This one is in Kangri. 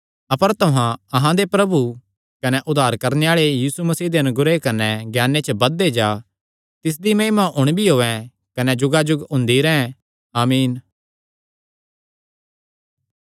अपर तुहां अहां दे प्रभु कने उद्धार करणे आल़े यीशु मसीह दे अनुग्रह कने ज्ञाने च बधदे जा तिसदी महिमा हुण भी होयैं कने जुगाजुग हुंदी रैंह् आमीन